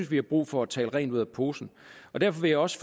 at vi har brug for at tale rent ud af posen og derfor vil jeg også